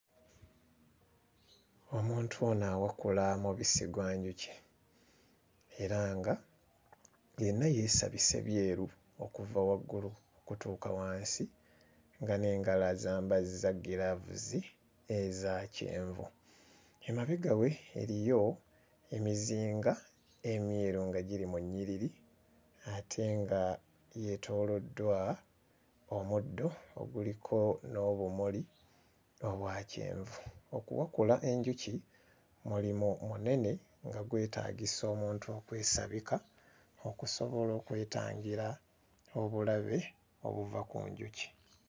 Omuntu ono awakula mubisi gwa njuki era nga yenna yeesabise byeru okuva waggulu okutuuka wansi nga n'engalo azambazza ggiraavuzi eza kyenvu, emabega we eriyo emizinga emyeru nga giri mu nnyiriri ate nga yeetooloddwa omuddo oguliko n'obumuli obwa kyenvu. Okuwakula enjuki mulimu munene nga gwetaagisa omuntu okwesabika okusobola okwetangira obulabe obuva ku njuki.